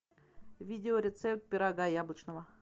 видео рецепт пирога яблочного